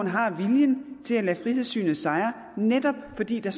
har viljen til at lade frihedssynet sejre netop fordi der